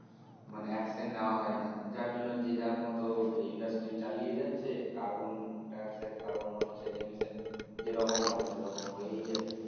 মানে Action নেওয়া হয় না যার জন্য যে যার মত industry চালিয়ে যাচ্ছে carbon dioxid carbon monoxide inisian যেরকম হয় সে রকম হয়েই যাচ্ছে